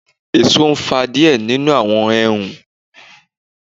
Eso fa diẹ ninu awọn Ẹhun